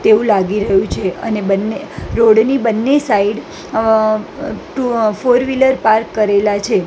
તેવું લાગી રહ્યું છે અને બન્ને રોડ ની બન્ને side uh two uh four wheeler park કરેલા છે.